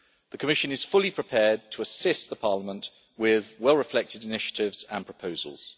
The Commission is fully prepared to assist Parliament with well reflected initiatives and proposals.